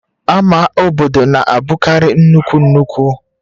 Ama obodo na-abụkarị nnukwu nnukwu